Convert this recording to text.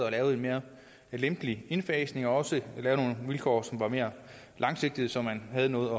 at lave en mere lempelig indfasning og også lave nogle vilkår som var mere langsigtede så man havde noget